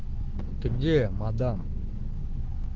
ты где мадам